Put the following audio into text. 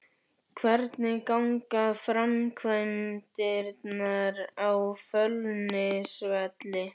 Hvernig ganga framkvæmdirnar á Fjölnisvelli?